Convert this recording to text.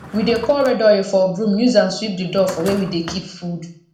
we dey pour red oil for broom use am sweep the door for where we dey keep food